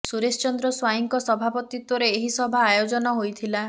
ସୁରେଶ ଚନ୍ଦ୍ର ସ୍ୱାଇଁଙ୍କ ସଭାପତିତ୍ୱରେ ଏହି ସଭା ଆୟୋଜନ ହୋଇଥିଲା